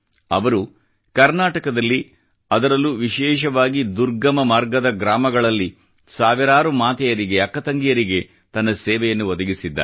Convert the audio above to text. ಅವಳು ಕರ್ನಾಟಕದಲ್ಲಿ ಅದರಲ್ಲೂ ವಿಶೇಷವಾಗಿ ದುರ್ಗಮ ಮಾರ್ಗದ ಗ್ರಾಮಗಳಲ್ಲಿ ಸಾವಿರಾರು ಮಾತೆಯರಿಗೆ ಅಕ್ಕ ತಂಗಿಯರಿಗೆ ತನ್ನ ಸೇವೆಯನ್ನು ಒದಗಿಸಿದ್ದಾರೆ